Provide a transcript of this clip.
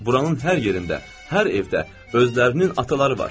Buranın hər yerində, hər evdə özlərinin ataları var.